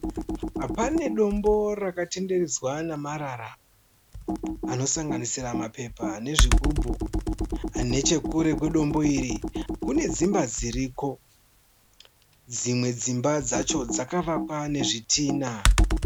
Panedombo rakatenderedzwa namarara anosanganisira mapepa nezvigubhu. Nechekure kwedombo iri kunedzimba dziriko. Dzimwe dzimba dzacho dzakavakwa nezvitina.